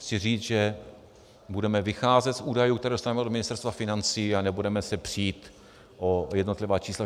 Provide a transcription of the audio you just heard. Chci říct, že budeme vycházet z údajů, které dostaneme od Ministerstva financí, a nebudeme se přít o jednotlivá čísla.